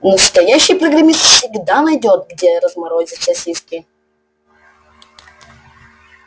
настоящий программист всегда найдёт где разморозить сосиски